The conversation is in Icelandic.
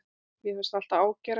Mér finnst það alltaf ágerast.